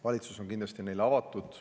Valitsus on kindlasti neile avatud.